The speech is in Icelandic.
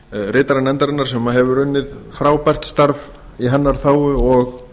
ritara nefndarinnar sem hefur unnið frábært starf í hennar þágu og